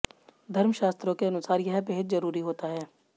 धर्म शास्त्रों के अनुसार यह बेहद जरूरी होता है